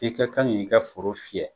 I ka kan ki ka foro fiyɛ.